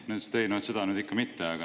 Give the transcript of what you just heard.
Nad ütlesid, et ei, no seda nüüd ikka mitte.